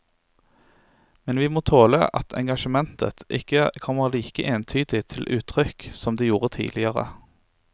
Men vi må tåle at engasjementet ikke kommer like entydig til uttrykk som det gjorde tidligere.